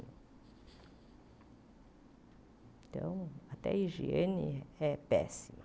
Então, até a higiene é péssima.